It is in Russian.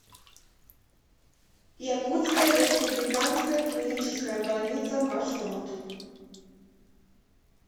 якутская республиканская клиническая больница маршрут